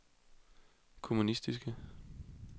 kommunistiske